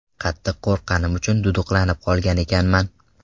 Qattiq qo‘rqqanim uchun duduqlanib qolgan ekanman.